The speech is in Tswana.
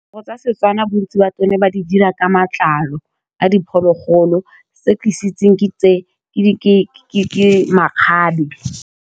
Diaparo tsa Setswana bontsi ba tsone ba di dira ka matlalo a diphologolo, se ke se itseng tse ke makgabe.